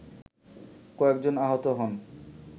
কয়েকজন আহত হন